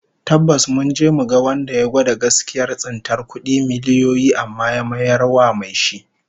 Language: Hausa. Tabbas, mun je mu ga wanda ya gwada gaskiyar tsintar kudi miliyoyi amma ya mayar wa mai shi